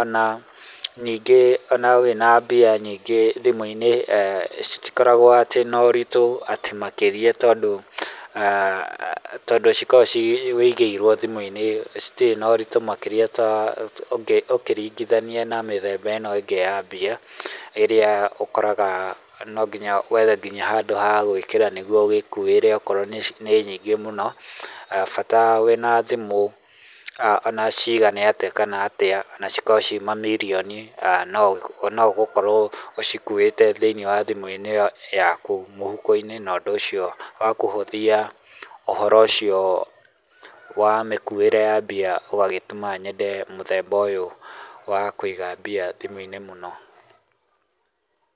ona ningĩ ona wĩna mbia nyingĩ thimũ-inĩ citikoragwo atĩ na ũritũ makĩria atĩ tondũ tondũ cikoragwo wũigĩirwo thimũ-inĩ citirĩ na ũtitũ makĩria ta ũngĩringithania na mĩthemba ĩno ĩngĩ ya mbia ĩrĩa ũkoraga no nginya wethe nginya handũ ha gwĩkĩra nĩguo ũgĩkuĩre o korwo nĩ nyingĩ mũno bata wĩna thimũ onaciga atĩa kana atĩa ona cikorwo ciĩ ma mirioni no ũgũkorwo ũkuĩte thiinĩ wa thimũ ĩyo yaku mũhuko-inĩ no ũndũ ũcio ũkahũthia ũhoro ũcio wa mĩkuĩre ya mbia ũgagĩtũma nyende mũthemba ũyũ wa kũiga mbia thimũ-inĩ mũno.